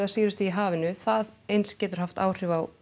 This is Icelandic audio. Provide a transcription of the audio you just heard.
sýrustigi í hafinu það eins getur haft áhrif á